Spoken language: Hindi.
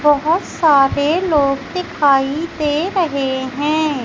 बहोत सारे लोग दिखाई दे रहे है।